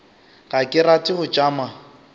ga ke rate go tšama